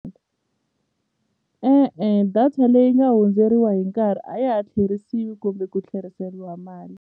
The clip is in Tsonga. E-e data leyi nga hundzeriwa hi nkarhi a ya ha tlherisiwi kumbe ku tlheriseriwa mali.